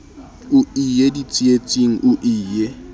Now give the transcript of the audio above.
o ie ditsietsing o ie